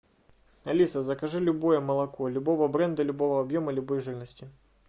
алиса закажи любое молоко любого бренда любого объема любой жирности